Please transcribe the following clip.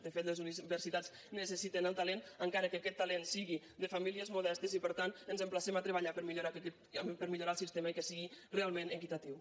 de fet les universitats necessiten el talent encara que aquest talent sigui de famílies modestes i per tant ens emplacem a treballar per millorar el sistema i que sigui realment equitatiu